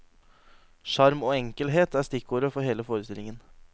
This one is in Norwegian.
Sjarm og enkelhet er stikkordet for hele forestillingen.